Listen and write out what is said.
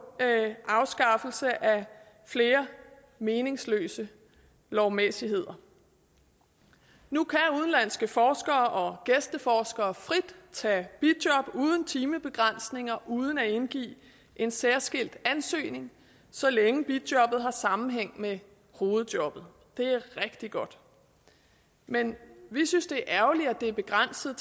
afskaffelse af flere meningsløse lovmæssigheder nu kan udenlandske forskere og gæsteforskere frit tage bijob uden timebegrænsning og uden at indgive en særskilt ansøgning så længe bijobbet har sammenhæng med hovedjobbet det er rigtig godt men vi synes det er ærgerligt at det er begrænset